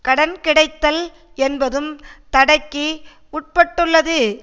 கடன் கிடைத்தல் என்பதும் தடைக்கு உட்பட்டுள்ளது